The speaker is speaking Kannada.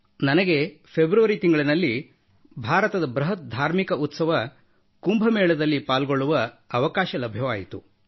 ನನಗೆ ಫೆಬ್ರವರಿ ತಿಂಗಳಿನಲ್ಲಿ ಭಾರತದ ಬೃಹತ್ ಧಾರ್ಮಿಕ ಉತ್ಸವ ಕುಂಭಮೇಳದಲ್ಲಿ ಪಾಲ್ಗೊಳ್ಳುವ ಅವಕಾಶ ಲಭ್ಯವಾಯಿತು